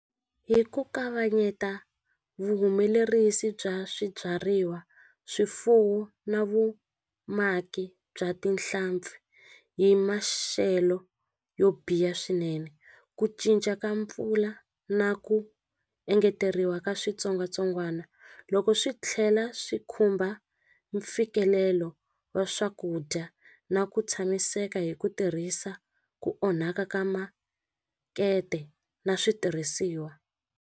Hi ku kavanyeta vuhumelerisi bya swibyariwa swifuwo na vumaki bya tinhlampfi hi maxelo yo biha swinene ku cinca ka mpfula na ku engeteriwa ka switsongwatsongwana loko swi tlhela swi khumba mfikelelo wa swakudya na ku tshamiseka hi ku tirhisa ku onhaka ka makete na switirhisiwa.